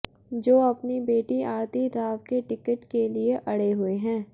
जो अपनी बेटी आरती राव के टिकट के लिए अड़े हुए हैं